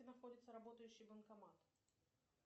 где находится работающий банкомат